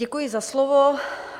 Děkuji za slovo.